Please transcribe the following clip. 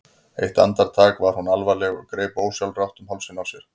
Eitt andartak var hún alvarleg og greip ósjálfrátt um hálsinn á sér.